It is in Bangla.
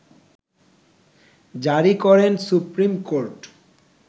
জারি করেন সুপ্রিম কোর্ট